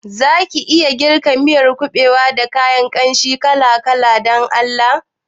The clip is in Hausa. Zaki iya girka miyar kuɓewa da kayan kanshi kala-kala Dan Allah?